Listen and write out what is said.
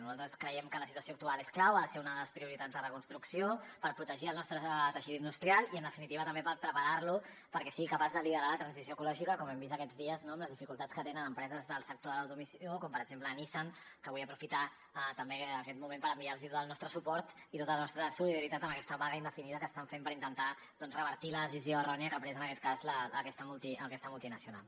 nosaltres creiem que la situació actual és clau ha ser una de les prioritats de la construcció per protegir el nostre teixit industrial i en definitiva també per preparar lo perquè sigui capaç de liderar la transició ecològica com hem vist aquests dies amb les dificultats que tenen empreses del sector de l’automoció com per exemple nissan que vull aprofitar també aquest moment per enviar los tot el nostre suport i la nostra solidaritat amb aquesta vaga indefinida que estan fent per intentar revertir la decisió errònia que ha pres en aquest cas aquesta multinacional